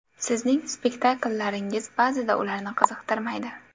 Sizning spektakllaringiz ba’zida ularni qiziqtirmaydi.